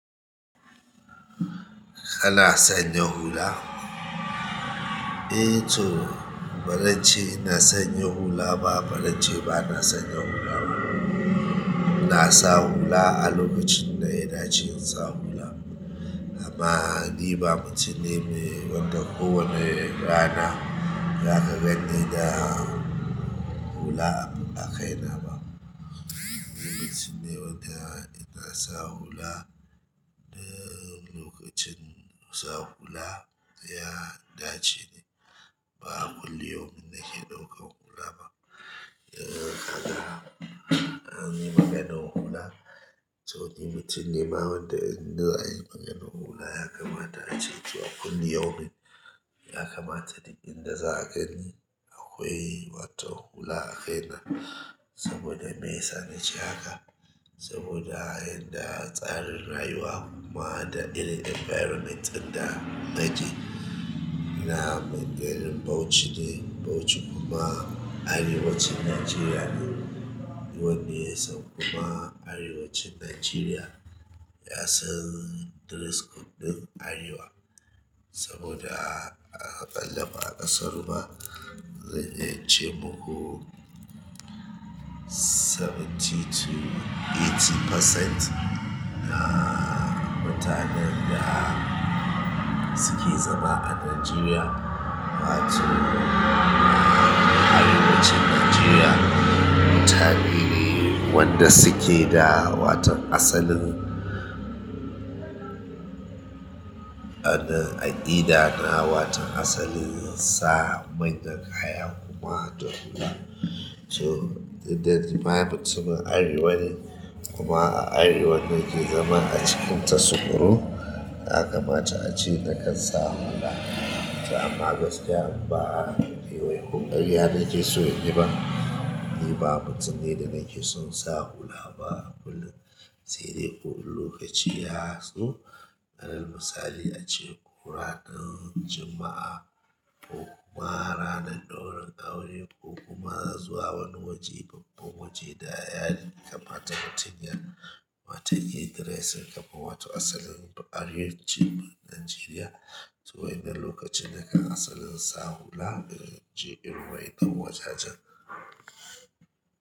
Kana sanya hula? Eh to, ba zan ce ina sanya hula ba, ba zan ce ba na sanya hula ba. Na sa hula a lokacin ɗaya da ce in sa hula. Amma ni ba mutun ne me wanda ko wane rana zaka ganni da hula a kai na ba. Ni mutum ne wanda ina sa hula da lokacin sa hula ya dace ne, ba kullu yaumin nake ɗauka hula ba. Da haka an yi maganar hula, to ni mutum ne ma wanda in na yi maganar hula ya kamata a ce cewa kullu yaumin ya kamata duk inda za ka gani akwai wata hula a kaina. Saboda meyasa nace haka? Saboda inda tsarin rayuwa kuma da irin environment ɗin da nake ina Gombe da Bauchi ne, Bauchi kuma arewacin Nigeria ne. Wanne yasan kuma arewacin Nigeria ya san dress code ɗin arewa. Saboda a ƙalla ma ƙasar mu zan yi ce mu. Saba'in to tamanin% na mutanen da suke zama a Nigeria, wato a arewacin Nigeria, mutane ne wanda suke da wata asalin anan aƙida na wata asalin sa manyan kaya kuma don hula. Toh duk da nima mutumin arewa ne kuma a arewa nake zama acikin ta sukurun yakamata ace nakan sa hula amma gaskiya ba karya nakeson inyi ba ni ba mutum ne da nake son sa hula ba kullum. Saidai ko in lokaci yazo alal musali ace ko ranar juma'a ko kuma ranan ɗaurin aure ko kuma zuwa wani waje, babban waje da ya yi kama ta mutum ya wata irin dress kama wato asalin arewacin Najeriya. To wa'innan lokacin da kan asalin sa hula, in je irin wa'innan wajajen.